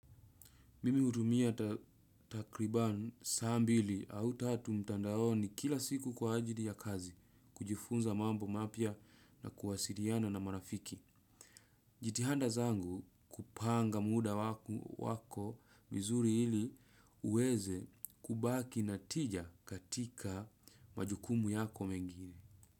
Mimi hutumia takriban saa mbili au tatu mtandaoni kila siku kwa ajili ya kazi, kujifunza mambo mapya na kuwasiliana na marafiki. Jitihanda zangu kupanga muda wako vizuri ili uweze kubaki natija katika majukumu yako mengine.